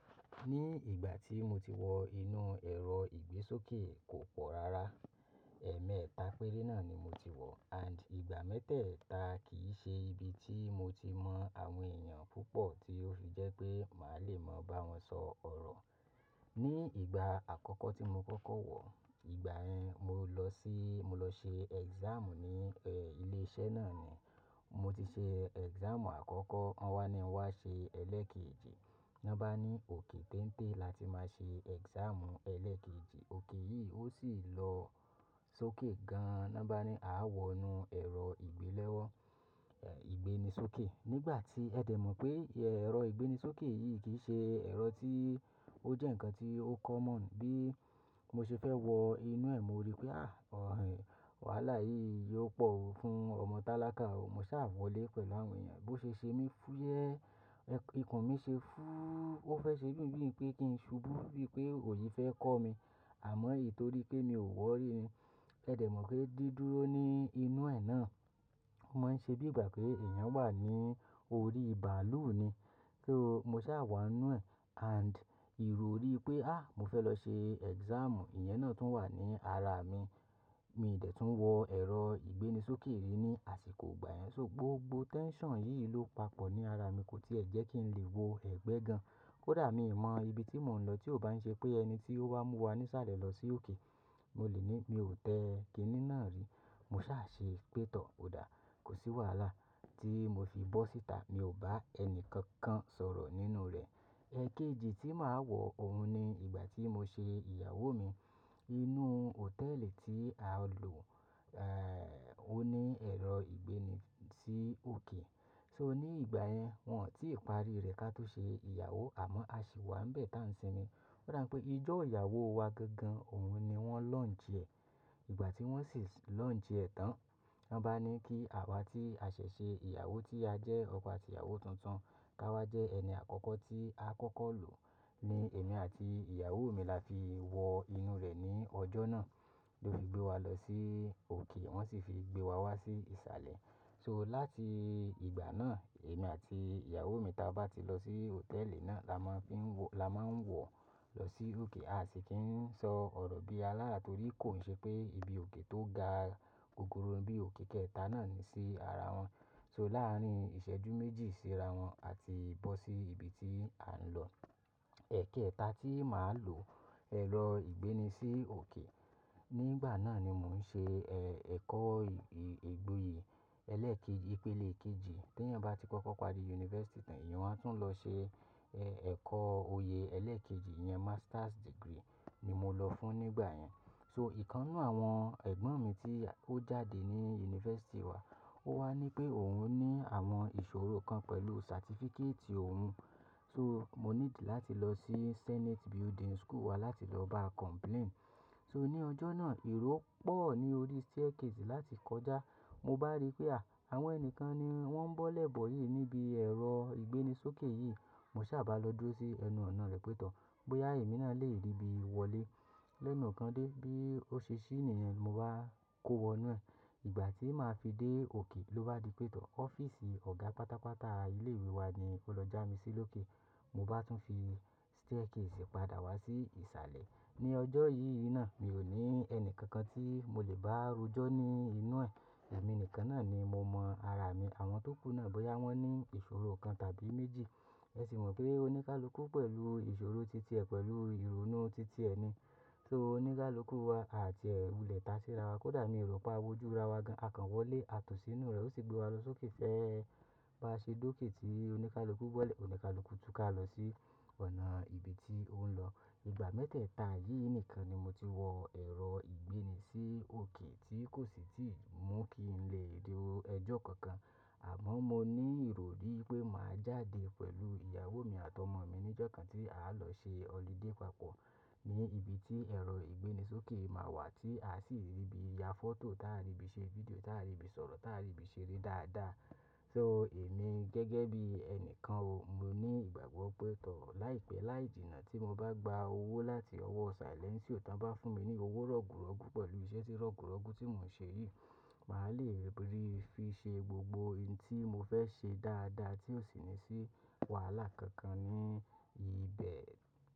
Ní ìgbà tí mo ti wọ inú ẹ̀rọ ìgbésókè kò pọ̀ rárá. Ẹ̀ẹ̀mẹ́ta péré náà ni mo ti wọ and ìgbà mẹ́tẹ̀ẹ̀ta kì í ṣe ibi tí mo ti mọ àwọn èèyàn púpọ̀ tí ó fi jẹ́ pé màá le mọ bá wọn sọ ọ̀rọ̀. Ní ìgbà àkọ́kọ́ tí mo kọ́kọ́ wọ̀ọ́, ìgbà yẹn mo lọ sí, mo lọ ṣe exam ní ẹ́ ilé-iṣẹ́ náà ni. Mo ti ṣe exam àkọ́kọ́, wọ́n wá ní n wá ṣe ẹlẹ́ẹ̀kejì. Wọ́n bá ní òkè téńté láti máa ṣe exam ẹlẹ́ẹ̀kejì, òkè yìí ó sì lọ sókè gan. Wọ́n bá ní a wọ inú ẹ̀rọ ìgbélẹ́wọ́, ẹ̀ ìgbéni sókè. Nígbà tí ẹ̀ dẹ̀ mọ̀ pé ẹ̀rọ ìgbéni sókè yìí kì í ṣe ẹ̀rọ tí ó jẹ́ ǹkan tí ó common bí mo ṣe fẹ́ wọ inú ẹ̀, mo rí pé à, ọ̀hìn, wàhálà yìí yóò pọ̀ fún ọmọ tálákà o. Mo sá wọlé pẹ̀lú àwọn èèyàn, bó ṣe ṣe mí fúyẹ́, ẹ̀ ikùn mi ṣe fúúú, ó fẹ́ ṣe bín bín pé kí n ṣubú bí pé òyi fẹ́ kọ́ mi, àmọ́ ítorí pé mi ò wọ̀ọ́ rí ni. Ẹ dẹ̀ mọ̀ pé dídúró ní inú ẹ̀ náà, máa ń ṣe bí ìgbà pé èèyàn wà ní orí bàálù ni. So, mo sá wà nínú ẹ̀ and ìròrí pé à, mo fẹ́ lọ ṣe exam, ìyẹn náà tún wà ní ara mi. Mi dẹ̀ tún wọ ẹ̀rọ ìgbéni sókè rí ní àsìkò ìgbà yẹn. So gbogbo tension yìí ló papọ̀ ní ara mi, kò tí ì jẹ́ kí n lè wo ẹ̀gbẹ́ gan. Kódà mi ò mọ ibi tí mò ń lọ tí ò bá ń ṣe pé ẹni tí ó wá mú wa ní ìsàlẹ̀ lọ sí òkè, mo lè ní mi ò tẹ kiní náà rí. Mo sá ṣe pé tọọ̀, ò dáa, kò sí wàhálà tí mo fi bọ́ síta, mi ò bá ẹni kankan sọ̀rọ̀ nínú rẹ̀. Ẹ̀ẹ̀kejì tí màá wọ òun ni ìgbà tí mo ṣe ìyàwó mi. Inú hòtẹ́ẹ̀lì tí a lò, ẹ́ ò ní ẹ̀rọ ìgbéni sí òkè. So ní ìgbà yẹn, wọn ò tí ì parí rẹ̀ ká tó ṣe ìyàwó, àmọ́ a sì wà ń bẹ̀ ta ń sinmi. Ó dà pé ijó ìyàwó wa gangan òun ni wọ́n launch ẹ̀. Ìgbà tí wọ́n sì launch ẹ̀ tán, wọ́n bá ní kí àwa tí a ṣẹ̀ ṣe ìyàwó tí a jẹ́ ọkọ àtí ìyàwó tuntun ká wá jẹ́ ẹni àkọ́kọ́ tí a kọ́kọ́ lò. Ni èmi àti ìyàwó mi la fi wọ inú rẹ̀ ní ọjọ́ náà. Lo fi gbé wa lọ sí òkè, wọ́n sì fi gbé wa wá sí ìsàlẹ̀. So láti ìgbà náà, èmi àti ìyàwó mi tí a bá ti lọ sí hòtẹ́ẹ̀lì náà la máa fi ń wọ, la máa ń wọ̀ lọ sí òkè a sì kí ń sọ ọ̀rọ̀ bí alára torí kò ń ṣe pé ibi òkè tó ga gogoro bí òkè kẹẹ̀ta náà ni sí ara wọn. So láàárín ìṣẹ́jú méjì síra wọn àti bọ́ sí ibi tí a ń lọ. Ẹ̀ẹ̀kéẹ̀ta tí màá lòó ẹ̀rọ ìgbéni sí òkè, nígbà náà ni mò ń ṣe ẹ́ ẹ̀kọ́ ìgboyè ẹlẹ́ẹ̀kejì, ìpele kejì. Tí ẹ̀yàn bá ti kọ́kọ́ parí yunifásítì tàn, èèyàn á tún lọ ṣe ẹ́ ẹ̀kọ́ oyè ẹlẹ́ẹ̀kejì yẹn, master's degree ni mo lọ fún nígbà yẹn. So ìkan nínu àwọn ẹgbọ́n mi tí ó jáde ní yunifásítì wa, ó wá ní pé òun ní àwọn ìṣòro kan pẹ̀lú certificate òun. So mo níìdí láti lọ sí senate building school wa láti lọ báa complain. So ní ọjọ́ náà, ìró pọ̀ ní orí staircase láti kọjá. Mo bá rí pé à, àwọn ẹni kan ni wọ́n ń bọ́ lẹ́bọ̀ yìí níbi ẹ̀rọ ìgbéni sókè yìí. Mo sá bá lọ dúró sí ẹnu ọ̀nà rẹ̀ pé tọọ̀ bóyá èmi náà lè dé ribi wọlé. Lẹ́nu kan dé bí ó ṣe ṣí nìyẹn, mo bá kó wọnú ẹ̀. Ìgbà tí màá fi dé òkè ló bá di pétọ̀. Ọ́fíìsì ọ̀gá pátápátá ilé ìwé wa ni ó lọ já mi sílòkè. Mo bá tún fi staircase padà wá sí ìsàlẹ̀. Ní ọjọ́ yìí náà, mi ò ní ẹni kankan tí mo lè bá rujọ ní inú ẹ̀. Ẹ̀mí nìkan náà ni mo mọ ara mi. Àwọn tó kún náà bóyá wọ́n ní ìṣòro kan tàbí méjì, ẹ sì mọ̀ pé oníkálukú pẹ̀lú ìṣòro títí ẹ pẹ̀lú ìrònú títí ẹ ni. So oníkálukú wa àti ẹ̀ wulẹ̀ ta síra wa. Kódà ní ìrọ́pà awujọ ra wa gan, a kàn wọlé, a tò sí inú rẹ̀, ó sì gbé wa lọ sókè fẹ́ bá ṣe dókè tí oníkálukú bọ́lẹ̀ oníkálukú túká lọ sí ọ̀nà ibi tí òun ń lọ. Ìgbà mẹ́tẹ̀ẹ̀ta yìí nìkan ni mo ti wọ ẹ̀rọ ìgbéni sí òkè tí kò sì tíì mú kí n lè rí ọjọ́ kankan. Àmọ́ mo ní ìròrí pé màá jáde pẹ̀lú ìyàwó mi àti ọmọ mi ní ọjọ́ kan tí àá lọ ṣe holiday papọ̀ ní ibi tí ẹ̀rọ ìgbéni sókè máa wà tí a sì lè bí ya photo, táa lè bí ṣe video, táa lè bí sọ̀rọ̀, táa lè bí ṣeré dáadáa. So èmi gẹ́gẹ́ bí ẹni kan o, mo ní ìgbàgbọ́ pé tọọ̀ láìpẹ́ láì jìnnà tí mo bá gba owó láti ọwọ́ silentio tán bá fún mi ní owó rọ̀gùrọ̀gú pẹ̀lú iṣẹ́ tí rọ̀gùrọ̀gú tí mò ń ṣe yìí, màá lè rí fi ṣe gbogbo ihun tí mo fẹ́ ṣe dáadáa tí ò sì ní sí wàhálà kankan ní ibẹ̀.